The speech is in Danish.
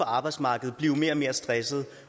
arbejdsmarkedet